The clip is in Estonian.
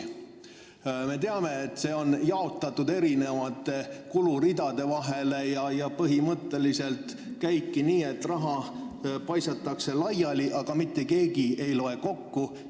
Me teame, et see raha tuleb eri kuluridadelt ja põhimõtteliselt käibki nii, et raha paisatakse laiali, aga mitte keegi ei loe seda kokku.